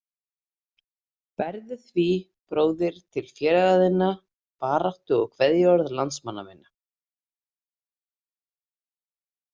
Berðu því bróðir til félaga þinna baráttu- og kveðjuorð landsmanna minna.